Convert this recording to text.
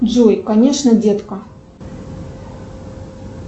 джой конечно детка